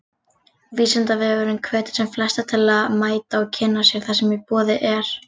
Vísindavefurinn hvetur sem flesta til að mæta og kynna sér það sem í boði er.